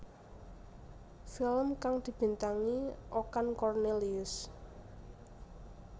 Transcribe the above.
Film kang dibintangi Okan Cornelius